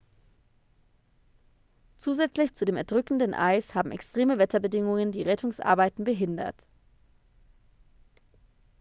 zusätzlich zu dem erdrückenden eis haben extreme wetterbedingungen die rettungsarbeiten behindert